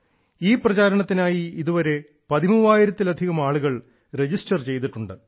ഈ പ്രചാരണത്തിനായി ഇതുവരെ പതിമൂവായിരത്തിലധികം ആളുകൾ രജിസ്റ്റർ ചെയ്തിട്ടുണ്ട്